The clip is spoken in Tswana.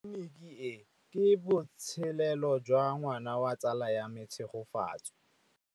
Tleliniki e, ke botsalêlô jwa ngwana wa tsala ya me Tshegofatso.